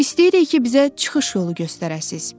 İstəyirik ki, bizə çıxış yolu göstərəsiniz.